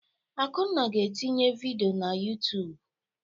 Akunna ga-etinye vidiyo na YouTụ́b.